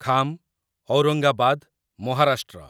Kham, Aurangabad, Maharashtra